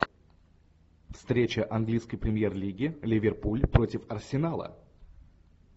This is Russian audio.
встреча английской премьер лиги ливерпуль против арсенала